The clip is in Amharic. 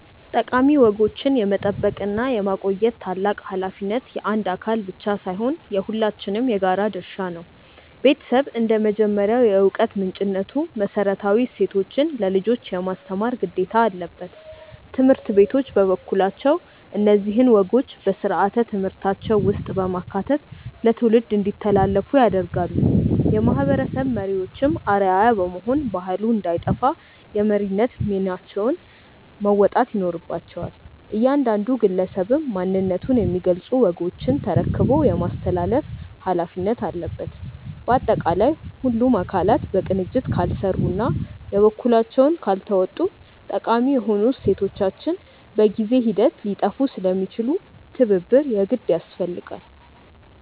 ጠቃሚ ወጎችን የመጠበቅና የማቆየት ታላቅ ኃላፊነት የአንድ አካል ብቻ ሳይሆን የሁላችንም የጋራ ድርሻ ነው። ቤተሰብ እንደ መጀመሪያው የዕውቀት ምንጭነቱ መሰረታዊ እሴቶችን ለልጆች የማስተማር ግዴታ አለበት። ትምህርት ቤቶች በበኩላቸው እነዚህን ወጎች በሥርዓተ ትምህርታቸው ውስጥ በማካተት ለትውልድ እንዲተላለፉ ያደርጋሉ። የማህበረሰብ መሪዎችም አርአያ በመሆን ባህሉ እንዳይጠፋ የመሪነት ሚናቸውን መወጣት ይኖርባቸዋል። እያንዳንዱ ግለሰብም ማንነቱን የሚገልጹ ወጎችን ተረክቦ የማስተላለፍ ኃላፊነት አለበት። ባጠቃላይ ሁሉም አካላት በቅንጅት ካልሰሩና የበኩላቸውን ካልተወጡ ጠቃሚ የሆኑ እሴቶቻችን በጊዜ ሂደት ሊጠፉ ስለሚችሉ ትብብር የግድ ያስፈልጋል።